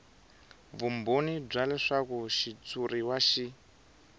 vumbhoni bya leswaku xitshuriwa xi